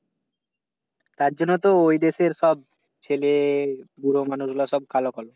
তার জন্য তো ওই দেশের সব ছেলে বুড়া মানুষগুলা সব কালো কালো।